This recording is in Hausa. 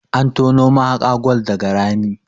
an tono mahaka gwal daga Rami